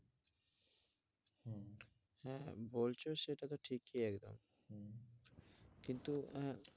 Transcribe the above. হ্যাঁ, বলছো সেটা তো ঠিকই একদম কিন্তু আহ